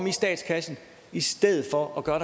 i statskassen i stedet for at gøre